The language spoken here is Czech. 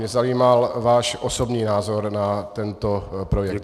Mě zajímal váš osobní názor na tento projekt.